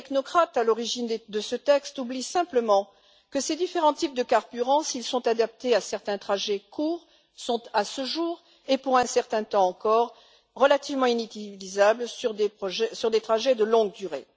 mais les technocrates à l'origine de ce texte oublient simplement que ces différents types de carburant, s'ils sont adaptés à certains trajets courts, sont à ce jour et pour un certain temps encore relativement inutilisables sur des trajets de longue durée.